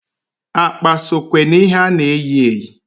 Akpa sokwe na ihe a na-eyi eyi.